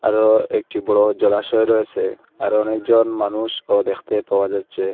আরো একটি বড় জলাশয় রয়েসে আরো অনেকজন মানুষও দেখতে পাওয়া যাচ্ছে।